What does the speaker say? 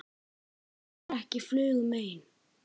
Gera ekki flugu mein.